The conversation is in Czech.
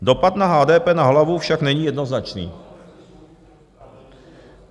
Dopad na HDP na hlavu však není jednoznačný.